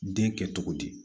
Den kɛ cogo di